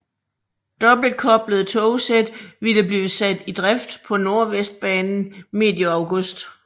Dobbeltkoblede togsæt ville blive sat i drift på Nordvestbanen medio august